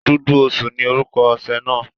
Dúdú osùn ni orúkọ oṣẹ́ náà.